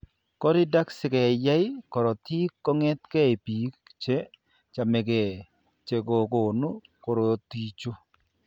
Coridact sikeyae korotik kong'etke biko che chamegee che kokonu korotichu.